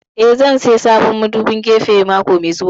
Eh, zan saya sabon madubin gefe mako mai zuwa